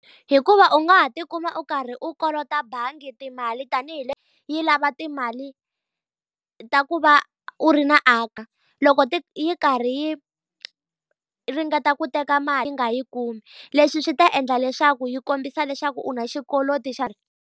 Hikuva u nga ha tikuma u karhi kolota bangi timali tanihi yi lava timali ka ku va u ri na . Loko yi karhi yi ringeta ku teka mali yi nga yi kumi. Leswi swi ta endla leswaku swi kombisa leswaku u na xikweleti xa.